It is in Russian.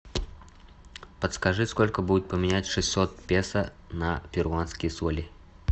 подскажи сколько будет поменять шестьсот песо на перуанские соли